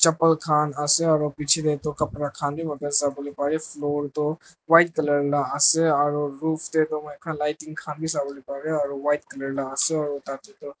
kan ase aro biche de tu kapra kan b sabolae parae floor tho white color la ase aro roof de tu white lighting kan sobale parae aro white color la ase aro tate tu.